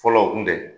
Fɔlɔ o kun tɛ